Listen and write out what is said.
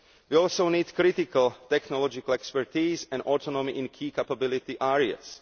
We also need critical technological expertise and autonomy in key capability areas.